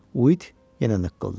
Uit yenə nıqqılladı.